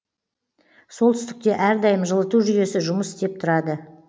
солтүстікте әрдайым жылыту жүйесі жұмыс істеп тұрады